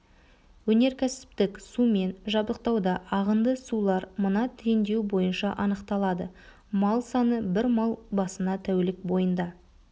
өнеркәсіптік сумен жабдықтауда ағынды сулар мына теңдеу бойынша анықталады мал саны бір мал басына тәулік бойында